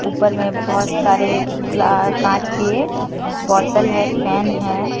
ऊपर में बहुत सारे क्ला कांच के बोतल है फैन है।